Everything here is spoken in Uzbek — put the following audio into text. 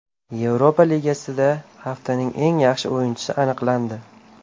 Yevropa Ligasida haftaning eng yaxshi o‘yinchisi aniqlandi.